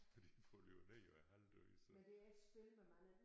Fordi den falder jo ned og er halvdød så